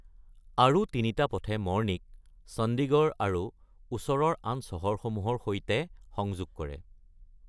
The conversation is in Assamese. আৰু তিনিটা পথই মৰ্নিক চণ্ডিগড় আৰু ওচৰৰ আন চহৰসমূহৰ সৈতে সংযোগ কৰে।